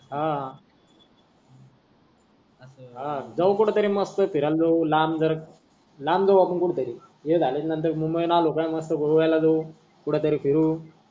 हा अस जाऊ कुठ तरी मंग फिरायला जाऊ लांब वर लांब जाऊ कुठ तरी हे झाल्याचा नंतर मंग मस्त गोव्याला जाऊ कुठ तरी फिरू.